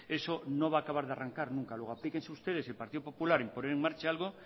eso no va a acabar de arrancar nunca luego aplíquense ustedes el partido popular en poner en marcha algo